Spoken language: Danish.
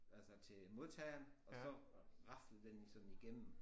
Altså til modtageren og så raslede den jo sådan igennem